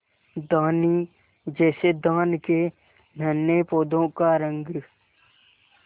धानी जैसे धान के नन्हे पौधों का रंग